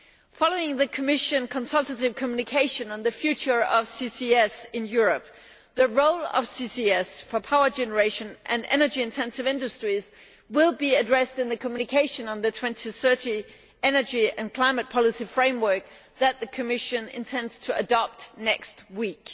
Following the Commission consultative communication on the future of CCS in Europe, the role of CCS for power generation and energy intensive industries will be addressed in the communication on the 2030 energy and climate policy framework that the Commission intends to adopt next week.